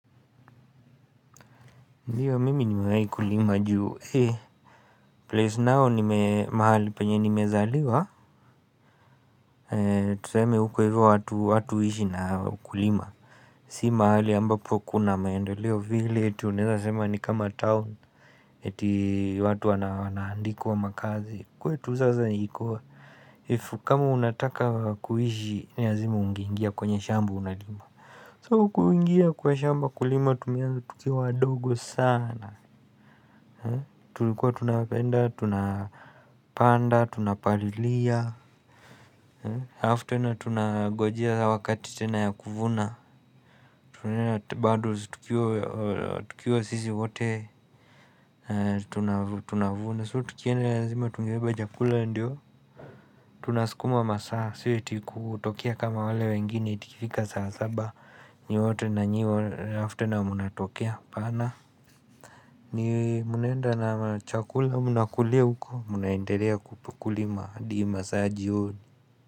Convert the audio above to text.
Kulima juu place nao nime mahali penye nimezaliwa Tuseme huko hivyo watu watu huishi na kulima Si mahali ambapo kuna maendeleo vile eti unaeza sema ni kama town eti watu wanaandikwa makazi kwetu sasa iko if kama unataka kuishi ni lazima ungeingia kwenye shamba unalima So kuingia kwa shamba kulima tumeanza tukiwa adogo sana tulikuwa tunapenda tunapanda tunapalilia alafu tena tunangojea wakati tena ya kuvuna bado tukiwa sisi wote tunavuna so tukienda lazima tungebeba chakula ndiyo tunasukuma masaa sio eti kutokea kama wale wengine eti ikifika saa saba nyinyi wote nanyiwa alafu tena mnatokea apana ni mnaenda na chakula mnakulia huko mnaendelea kupu Kulima, hadi masaa ya jioini.